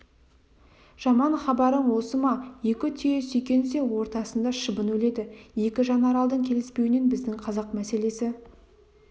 жаман хабарың осы ма екі түйе сүйкенсе ортасында шыбын өледі екі жанаралдың келіспеуінен біздің қазақ мәселесі